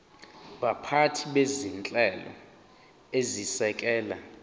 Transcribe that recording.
baphathi bezinhlelo ezisekela